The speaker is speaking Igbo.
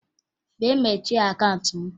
Bịa mechie akaụnt m!